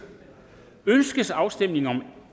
ønskes afstemning om